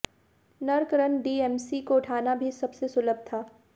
नर्क रन डीएमसी को उठाना भी सबसे सुलभ था